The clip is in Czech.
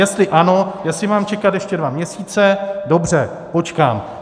Jestli ano, jestli mám čekat ještě dva měsíce, dobře, počkám.